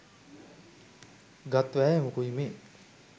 ගත් වෑයමකුයි මේ.